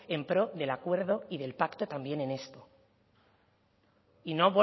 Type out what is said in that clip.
en pro del acuerdo y del pacto también en esto y no